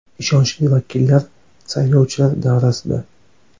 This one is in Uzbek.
Ishonchli vakillar saylovchilar davrasida.